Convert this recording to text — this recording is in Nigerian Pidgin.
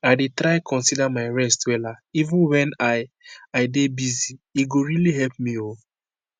i dey try consider my rest wella even wen i i dey busy- e go really help me o.